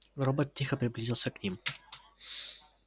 робот тихо приблизился к ним